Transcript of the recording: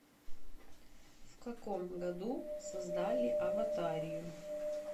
в каком году создали аватарию